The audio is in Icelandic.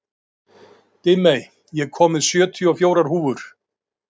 Dimmey, ég kom með sjötíu og fjórar húfur!